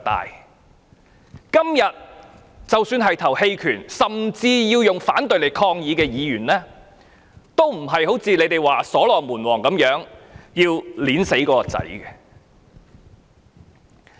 即使今天表決棄權，甚至要投票反對以作抗議的議員，都不是像你們說如所羅門王般要將孩子劈死。